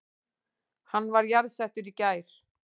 Hann var jarðsettur í gær